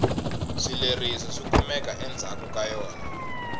swileriso swikumeka endzhaku ka yona